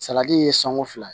Salati ye sanko fila